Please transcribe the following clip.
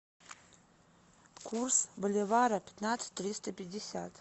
курс боливара пятнадцать триста пятьдесят